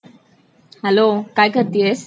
Hello काय करतेयस ?